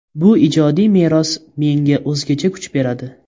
Bu ijodiy meros menga o‘zgacha kuch beradi.